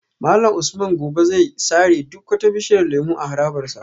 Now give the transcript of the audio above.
Malam Usman gobe zai sare duk wata bishiyar lemu a harabar sa